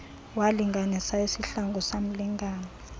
walinganisa isihlangu samlingana